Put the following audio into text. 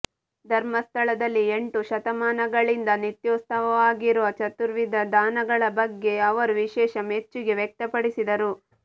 ಧರ್ಮಸ್ಥಳದಲ್ಲಿ ಎಂಟು ಶತಮಾನಗಳಿಂದ ನಿತ್ಯೋತ್ಸವವಾಗಿರುವ ಚತುರ್ವಿಧ ದಾನಗಳ ಬಗ್ಯೆ ಅವರು ವಿಶೇಷ ಮೆಚ್ಚುಗೆ ವ್ಯಕ್ತಪಡಿಸಿದರು